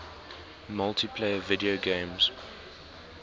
multiplayer video games